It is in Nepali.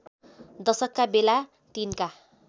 दशकका बेला तिनका